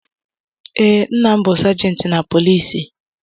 Ee nna m bú sajenti na poliisi